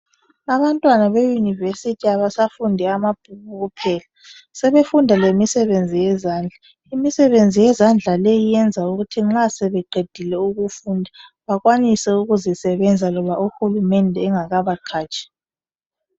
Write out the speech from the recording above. Abantwana be University abasafundi ababhuku kuphela sebefunda lemisebenzi yezandla. Imisebenzi yezandla leyi uyenza ukuthi nxa sebeqedile ukufunda bakwanise ukuzisebenza loba u Hulumende engakabaqhatshi.